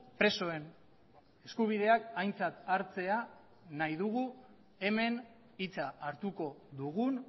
presoen eskubideak aintzat hartzea nahi dugu hemen hitza hartuko dugun